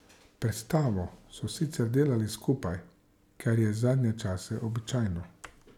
Predstavo so sicer delali skupaj, kar je v zadnjem času običajno.